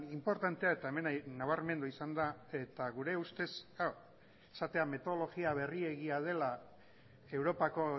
inportantea eta hemen nabarmendu izan da eta gure ustez esatea metodologia berriegia dela europako